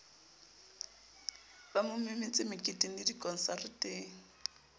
ba mo memetse meketengle dikonsareteng